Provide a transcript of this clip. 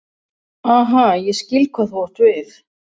Aha, ég skil hvað þú átt við.